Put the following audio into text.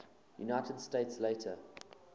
united states later